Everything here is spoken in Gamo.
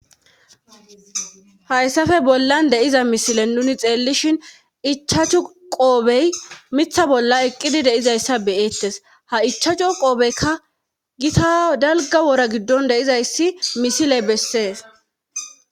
Hayssafe bollan de7iza misilen nuni xeellishin ichachu qoobey mitha bolla eqqidi de7izayssa be7eettes ha ichachu qobekka gita dalgga wora giddon de7izayssi misile bessees.